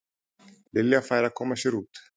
Lilja færi að koma sér út.